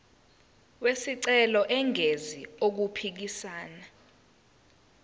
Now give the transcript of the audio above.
wesicelo engenzi okuphikisana